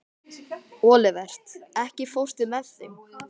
Olivert, ekki fórstu með þeim?